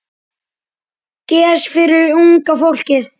Gess fyrir unga fólkið.